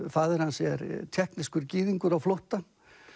faðir hans er gyðingur á flótta